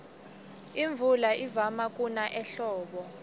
imvula ivama kuna ehlobo